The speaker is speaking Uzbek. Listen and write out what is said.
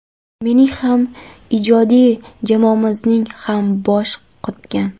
Mening ham, ijodiy jamoamizning ham boshi qotgan.